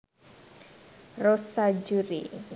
Rossa Juri